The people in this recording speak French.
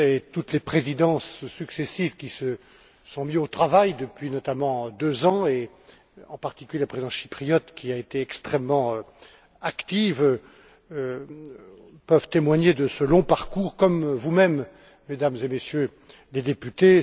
Toutes les présidences successives qui se sont mises au travail depuis notamment deux ans, en particulier la présidence chypriote, qui a été extrêmement active, peuvent témoigner de ce long parcours, comme vous mêmes, Mesdames et Messieurs les députés.